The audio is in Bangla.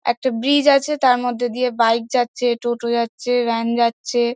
একটা ব্রিজ আছে তার মধ্যে দিয়ে বাইক যাচ্ছে টোটো যাচ্ছে ভ্যান যাচ্ছে।